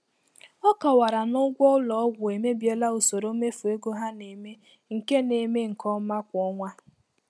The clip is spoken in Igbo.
Ọ kọwara na ụgwọ ụlọ ọgwụ emebiela usoro mmefu ego ha na-eme nke na-eme nke ọma kwa ọnwa.